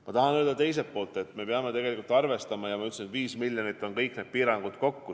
Ma tahan öelda teiselt poolt, et me peame arvestama, nagu ma ütlesin, et 5 miljonit on kõik need piirangud kokku.